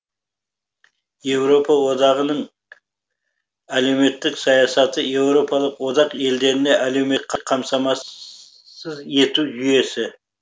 еуропа одағының әлеуметтік саясаты еуропалық одақ елдерінде әлеуметтік қамтамасыз ету жүйесі